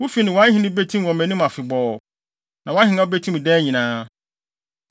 Wo fi ne wʼahenni betim wɔ mʼanim afebɔɔ; na wʼahengua betim daa nyinaa.’ ”